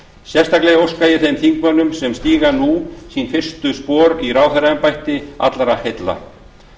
sérstaklega óska ég þeim þingmönnum sem stíga nú sín fyrstu spor í ráðherraembætti allra heilla